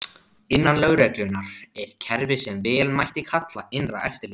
Innan lögreglunnar er kerfi sem vel mætti kalla innra eftirlit.